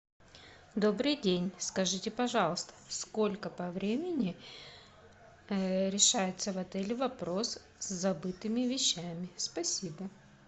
добрый день скажите пожалуйста сколько по времени решается в отеле вопрос с забытыми вещами спасибо